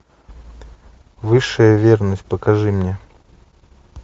высшая верность покажи мне